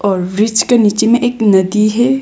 और वृक्ष के नीचे में एक नदी है।